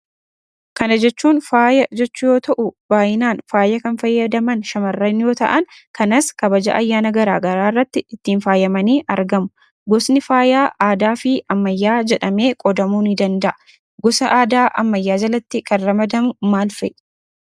Kana jechuun faaya jechuu yoo ta'uu baay'inaan faaya kan fayyadaman shamarran yoo ta'aan kanas kabaja ayyaana garaa garaa irratti ittiin faayamanii argamu. Gosni faayaa aadaa fi ammayyaa jedhamee qoodamuu ni danda'a. Gosa aadaa ammayyaa jalatti kan ramadamu maal fa'i?